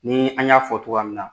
Ni an y'a fɔ togoya min na